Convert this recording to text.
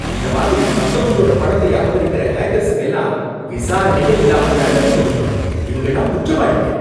இந்த மாதிரி மத்தவங்களோட பணத்தை அபகரிக்குற ஹேக்கர்ஸ்க்கெல்லாம் விசாரணையே இல்லாம தண்டனை குடுக்கணும். இவங்கள்லாம் குற்றவாளிங்க.